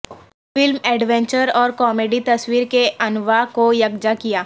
film adventure اور comedy تصویر کے انواع کو یکجا کیا